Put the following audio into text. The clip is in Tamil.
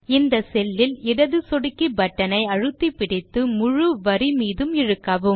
இந்த செல்லில் இடது சொடுக்கி பட்டன் ஐ அழுத்திப் பிடித்து முழு வரி மீதும் இழுக்கவும்